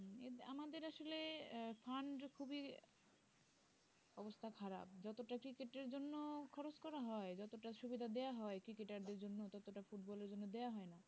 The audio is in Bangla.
খুবই অবস্থা খারাপ যতটা cricket এর জন্য খরচ করা হয় যতটা সুবিধা দেওয়া হয় cricket টার দের জন্য ততটা ফুটবলের জন্য দেওয়া হয় না